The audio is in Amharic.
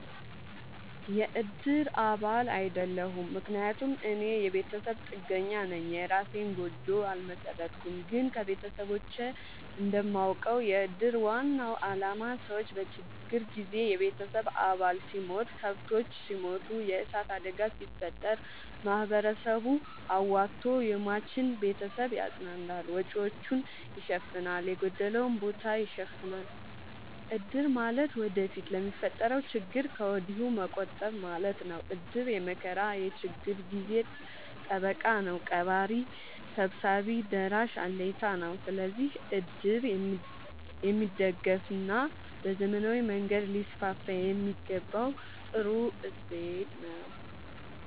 የእድር አባል አይደለሁም። ምክንያቱም እኔ የቤተሰብ ጥገኛነኝ የእራሴን ጎጆ አልመሠረትኩም። ግን ከቤተሰቦቼ እንደማውቀው። የእድር ዋናው አላማ ሰዎች በችግር ጊዜ የቤተሰብ አባል ሲሞት፤ ከብቶች ሲሞቱ፤ የዕሳት አደጋ ሲፈጠር፤ ማህበረሰቡ አዋቶ የሟችን ቤተሰብ ያፅናናል፤ ወጪወቹን ይሸፋናል፤ የጎደለውን ቦታ ይሸፋናል። እድር ማለት ወደፊት ለሚፈጠረው ችግር ከወዲሁ መቆጠብ ማለት ነው። እድር የመከራ የችግር ጊዜ ጠበቃ ነው። ቀባሪ ሰብሳቢ ደራሽ አለኝታ ነው። ስለዚህ እድር የሚደገፋና በዘመናዊ መንገድ ሊስስፋየሚገባው ጥሩ እሴት ነው።